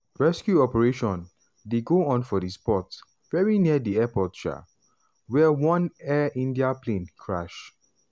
rescue operation dey go on for di spot very near di airport um wia one air india plane crash.